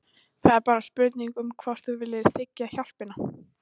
Það er bara spurning um hvort þú viljir þiggja hjálpina.